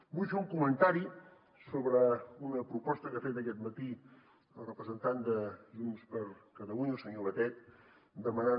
vull fer un comentari sobre una proposta que ha fet aquest matí el representant de junts per catalunya el senyor batet demanant